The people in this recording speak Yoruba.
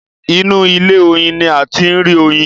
inú ilé oyin ní a tí rí Oyin.